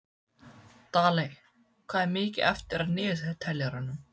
Daley, hvað er mikið eftir af niðurteljaranum?